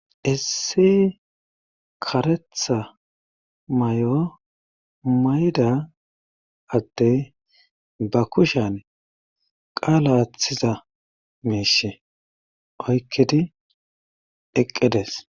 issi karetha may7o mayda adde ba kushan qaala aathiza miisha oykkedi eqqedes